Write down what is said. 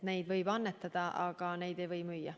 Neid võib annetada, aga neid ei või müüa.